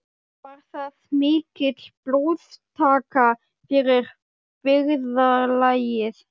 Var það mikil blóðtaka fyrir byggðarlagið.